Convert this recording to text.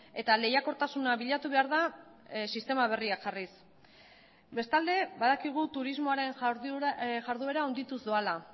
eta lehiakortasuna bilatu behar da sistema berriak jarriz bestalde badakigu turismoaren jarduera handituz doala